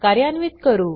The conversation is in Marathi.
कार्यान्वित करू